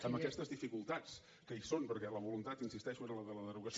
amb aquestes dificultats que hi són perquè la voluntat hi insisteixo era la derogació